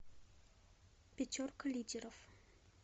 пятерка лидеров